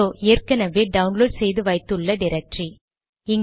இதோ ஏற்கனவே டவுன்லோட் செய்து வைத்து உள்ள டிரக்டரி